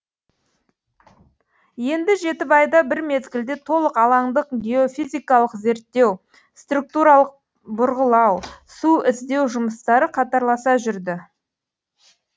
енді жетібайда бір мезгілде толық алаңдық геофизикалық зерттеу структуралық бұрғылау су іздеу жұмыстары қатарласа жүрді